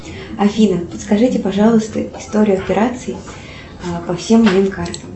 афина подскажите пожалуйста историю операций по всем моим картам